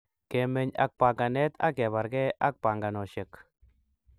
kemeny ak panganet ak kebarakee panganosheck